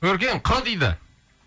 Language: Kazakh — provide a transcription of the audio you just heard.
өркен қ дейді